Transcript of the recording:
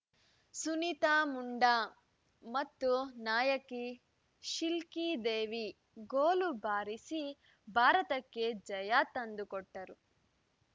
ಸುನೀತಾ ಮುಂಡಾ ಮತ್ತು ನಾಯಕಿ ಶಿಲ್ಕಿ ದೇವಿ ಗೋಲು ಬಾರಿಸಿ ಭಾರತಕ್ಕೆ ಜಯ ತಂದುಕೊಟ್ಟರು